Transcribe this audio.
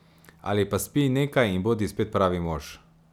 Ali pa spij nekaj in bodi spet pravi mož.